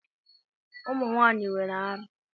Ụmụ nwaanyị nwere árá.